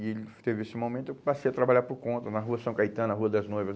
E ele teve esse momento que eu passei a trabalhar por conta, na Rua São Caetano, na Rua das Noivas.